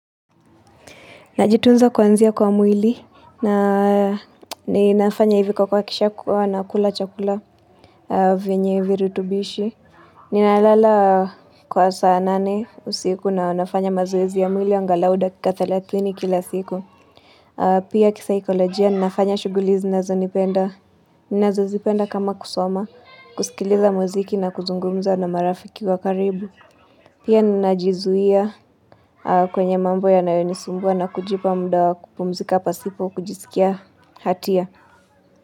Najitunza kwanzia kwa mwili na ninafanya hivi kwa kwa kisha kwa nakula chakula vinyi hivi rutubishi. Ninalala kwa saa nane usiku na nafanya mazoezi ya mwili ngalauda kika 30 kila siku. Pia kisaikolojia, ninafanya shugulizi ninanazo nipenda. Nnazo zipenda kama kusoma, kusikiliza muziki na kuzungumza na marafiki wa karibu. Pia ninajizuia kwenye mambo ya nayonisumbwa na kujipa muda wa kupumzika pasipo kujisikia hatia.